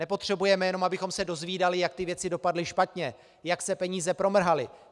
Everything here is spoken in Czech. Nepotřebujeme jenom, abychom se dozvídali, jak ty věci dopadly špatně, jak se peníze promrhaly.